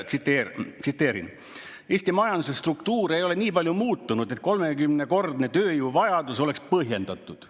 Ja nüüd tsiteerin: "Eesti majanduse struktuur ei ole nii palju muutunud, et 30-kordne tööjõuvajadus oleks põhjendatud.